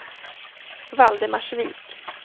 Valdemarsvik